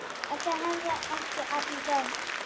Þetta hefðu ekki allir gert.